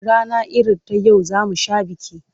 Rana irin ta yau za mu sha biki.